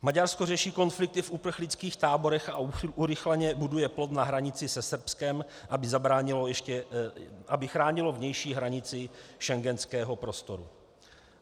Maďarsko řeší konflikty v uprchlických táborech a urychleně buduje plot na hranici se Srbskem, aby chránilo vnější hranici schengenského prostoru.